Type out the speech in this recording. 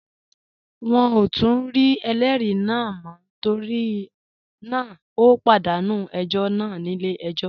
Wọn ò tún rí ẹlẹ́rìí náà mọ́ torí náà ó pàdánù ẹjọ́ náà nílé ẹjọ́